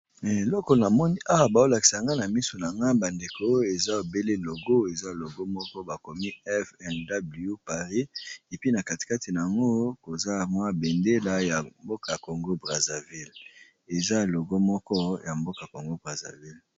eloko na moni awa baolakisanga na miso na nga bandeko oyo eza ebele logo eza logo moko bakomi fnw paris epi na katikati na yango koza mwa bendela ya mboka congo braserville eza logo moko ya mboka congo braserville